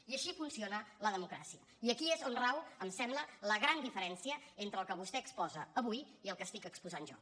i així funciona la democràcia i aquí és on rau em sembla la gran diferència entre el que vostè exposa avui i el que estic exposant jo